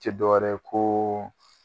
Cɛ dɔw yɛrɛ ko